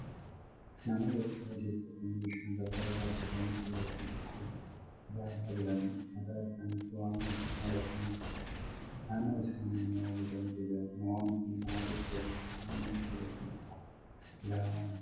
Namoota uffata a'adii uffatanii bishaan qarqara dhaabbatanii kallattii tokko ilaalaa jiranidha. Mataa isaaniitti waan adii maratanii jiru. Naannoo isaanii immoo bosonatu jira. Namoonni kun maalif waliin ta'anii kallattii tokko ilaalaa jiru?